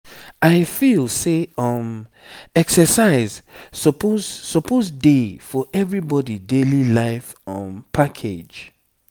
i feel say um exercise suppose suppose dey for everybody daily life um package.